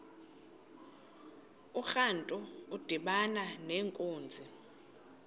urantu udibana nenkunzi